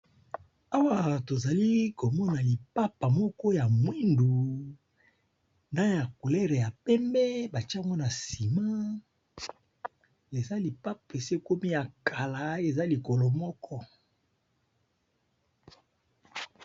Awa tozali komona lipapa moko ya mwindu, na ya culere ya pembe batiango na sima, eza lipapa esekomi ya kala eza likolo moko.